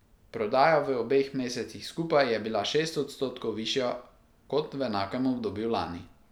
Prodaja v obeh mesecih skupaj je bila šest odstotkov višja kot v enakem obdobju lani.